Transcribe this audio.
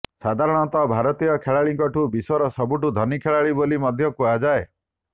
ସାଧାରଣତଃ ଭାରତୀୟ ଖେଳାଳିଙ୍କୁ ବିଶ୍ବର ସବୁଠୁ ଧନୀ ଖେଳାଳି ବୋଲି ମଧ୍ୟ କୁହାଯାଏ